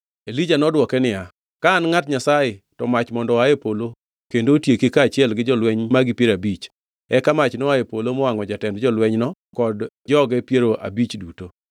Elija nodwoke niya, ka an ngʼat Nyasaye, to mach mondo oa e polo kendo otieki kaachiel gi jolweny magi piero abich! Eka mach noa e polo mowangʼo jatend jolwenyno kod joge piero abich duto.